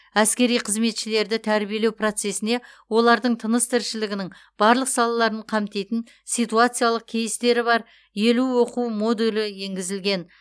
әскери қызметшілерді тәрбиелеу процесіне олардың тыныс тіршілігінің барлық салаларын қамтитын ситуациялық кейстері бар елу оқу модулі енгізілген